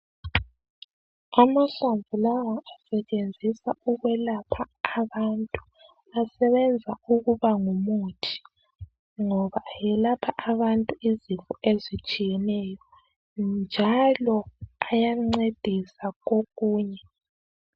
Amahlamvu lawa asetshenziswa ukwelapha abantu. Asebenza ukuba ngumuthi ngoba ayelapha abantu izifo ezitshiyeneyo njalo ayancedisa kokunye.